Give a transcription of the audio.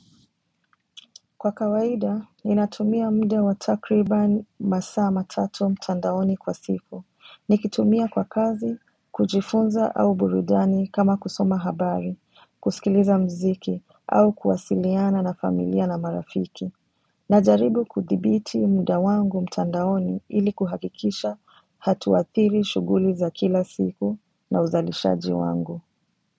Kwa kawaida, ninatumia muda wa takribani masaa matatu mtandaoni kwa siku. Nikitumia kwa kazi, kujifunza au burudani kama kusoma habari, kusikiliza mziki, au kuwasiliana na familia na marafiki. Najaribu kudhibiti muda wangu mtandaoni ili kuhakikisha hatuathiri shughuli za kila siku na uzalishaji wangu.